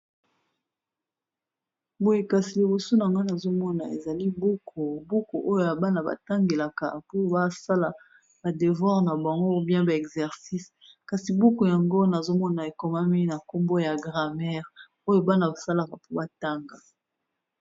Boye kasi liboso nanga nazo mona ezali buku, buku oyo ya bana ba tangelaka mpo ba sala ba devoir na bango ou bien ba exercice. Kasi buku yango nazo mona ekomami na nkombo ya grammaire, oyo bana ba salaka mpo ba tanga.